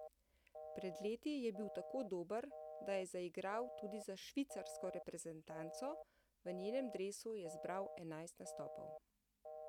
Pred leti je bil tako dober, da je zaigral tudi za švicarsko reprezentanco, v njenem dresu je zbral enajst nastopov.